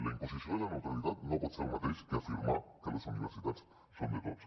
la imposició de la neutralitat no pot ser el mateix que afirmar que les universitats són de tots